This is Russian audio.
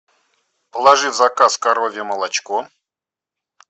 положи в заказ коровье молочко